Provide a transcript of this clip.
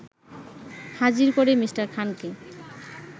হাজির করে মি. খানকে